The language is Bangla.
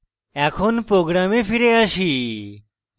এখন program ফিরে আসি